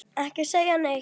Ekki segja neitt!